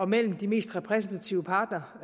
mellem de mest repræsentative parter